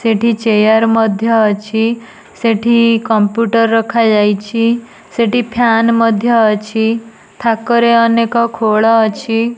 ସେଠି ଚେୟାର ମଧ୍ୟ ଅଛି। ସେଠି କମ୍ପ୍ୟୁଟର ରଖାଯାଇଛି। ସେଠି ଫ୍ୟାନ୍ ମଧ୍ୟ ଅଛି। ଥାକରେ ଅନେକ ଖୋଳ ଅଛି।